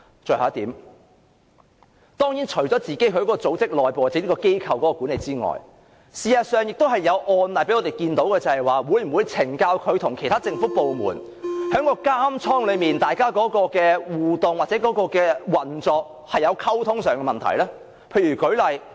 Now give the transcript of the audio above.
最後一點，除了整個組織內部或機構管理外，事實上，亦有案例讓我們看到，懲教署會否與其他政府部門在監倉內的互動或運作出現溝通上的問題呢？